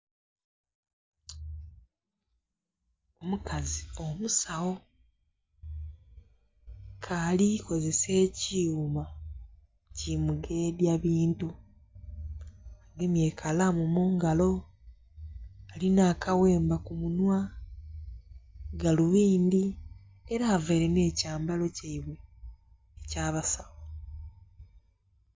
Omukazi omusawo ke alikozesa ekyuma kimugedya bintu agemye ekalamu mungalo alina akaghemba kumunhwa, galubindhi era avaire n'ekyambalo kyaibwe ekyabasawo.